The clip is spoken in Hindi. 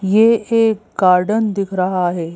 ये एक गार्डन दिख रहा है।